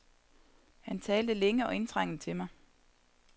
Han talte længe og indtrængende til mig.